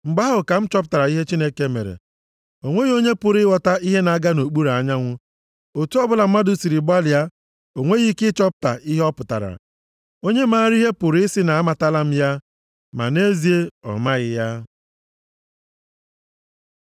mgbe ahụ ka m chọpụtara ihe Chineke mere. O nweghị onye pụrụ ịghọta ihe na-aga nʼokpuru anyanwụ. Otu ọbụla mmadụ siri gbalịa o nweghị ike ịchọpụta ihe ọ pụtara. Onye maara ihe pụrụ ị sị na a amatala ya, ma nʼezie ọ maghị ya.